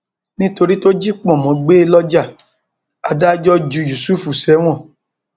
nítorí tó jí pọnmọ gbé lọjà adájọ lọjà adájọ ju yusuf sẹwọn